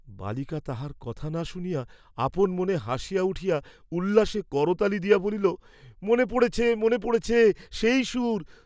বালিকা তাঁহার কথা না শুনিয়া আপন মনে হাসিয়া উঠিয়া উল্লাসে করতালি দিয়া বলিল, মনে পড়েছে, মনে পড়েছে, সেই সুর!